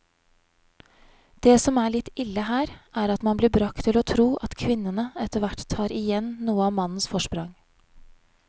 Det som er litt ille her, er at man blir bragt til å tro at kvinnene etterhvert tar igjen noe av mannens forsprang.